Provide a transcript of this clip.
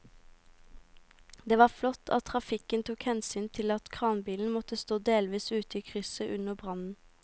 Det var flott at trafikken tok hensyn til at kranbilen måtte stå delvis ute i krysset under brannen.